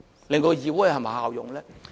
令到議會更有效用呢？